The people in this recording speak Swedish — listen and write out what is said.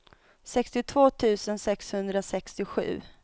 sextiotvå tusen sexhundrasextiosju